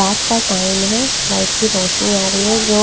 रात का टाइम है लाइट की रोशनी आ रही है जो--